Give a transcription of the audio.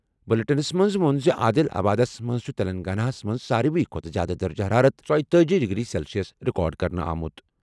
بلیٹنَس منٛز ووٚن زِ عادل آبادَس منٛز چھُ تلنگانہ ہَس منٛز ساروِی کھۄتہٕ زِیٛادٕ درجہ حرارت ژیِتأجی ڈگری سیلسیس ریکارڈ کرنہٕ آمُت۔